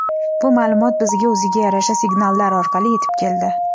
bu ma’lumot bizga o‘ziga yarasha signallar orqali yetib keldi.